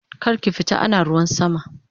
Karki fita ana ruwan sama!